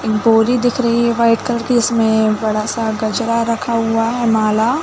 एक बोरी दिख रही है वाइट कलर की इसमें एक बड़ा -सा गजरा रखा हुआ है माला --